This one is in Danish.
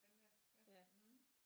Anna ja